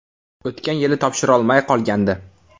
O‘tgan yili topshirolmay qolgandi.